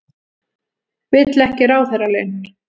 Vill ekki ráðherralaun